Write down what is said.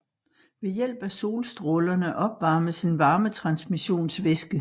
Ved hjælp af solstrålerne opvarmes en varmetransmissionsvæske